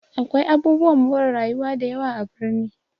Akwai abubuwan more rayuwa dayawa a birni